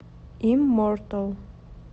иммортал